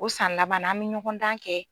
O san laban na, an bɛ ɲɔgɔn dan kɛ.